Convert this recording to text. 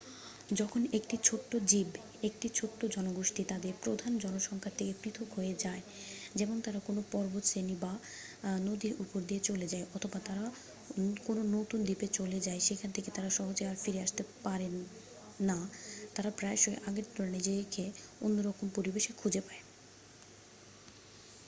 যখন একটি ছোট্ট জীব একটি ছোট জনগোষ্ঠী তাদের প্রধান জনসংখ্যার থেকে পৃথক হয়ে যায় যেমন তারা কোনও পর্বতশ্রেণী বা নদীর উপর দিয়ে চলে যায় অথবা তারা কোনও নতুন দ্বীপে চলে যায় যেখান থেকে তারা সহজে আর ফিরতে না পারে তারা প্রায়শই আগের তুলনায় নিজেকে অন্যরকম পরিবেশে খুঁজে পায়।